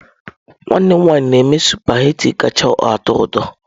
Nwanne m nwanyị na-eme sụpaghetị kacha atọ ụtọ.